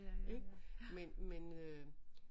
Ik men men øh